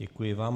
Děkuji vám.